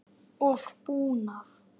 og búnað.